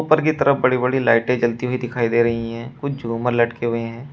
ऊपर की तरफ बड़ी बड़ी लाइटें जलती हुई दिखाई दे रही हैं कुछ झुमर लटके हुए हैं।